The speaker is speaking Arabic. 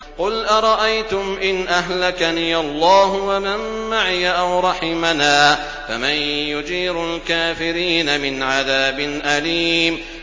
قُلْ أَرَأَيْتُمْ إِنْ أَهْلَكَنِيَ اللَّهُ وَمَن مَّعِيَ أَوْ رَحِمَنَا فَمَن يُجِيرُ الْكَافِرِينَ مِنْ عَذَابٍ أَلِيمٍ